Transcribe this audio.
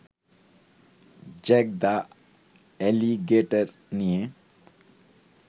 Jack the alligator নিয়ে